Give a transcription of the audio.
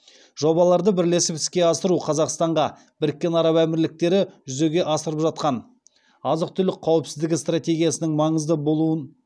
жобаларды бірлесіп іске асыру қазақстанға біріккен араб әмірліктері жүзеге асырып жатқан азық түлік қауіпсіздігі стратегиясының